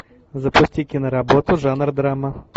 запусти киноработу жанр драма